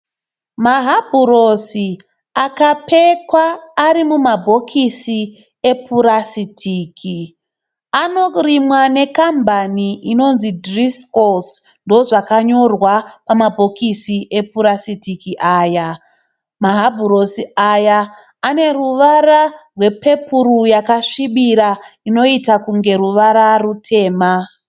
Mahabhurosi akapekwa arimumabhokisi upurasitiki. Anorimwa nekambani inonzi dhirisikosi, ndozvakanyorwa pamabhokisi epurasitiki aya. Mahabhurosi aya aneruvara rwepepuru yakasvibira inoita kunge ruvara rutema.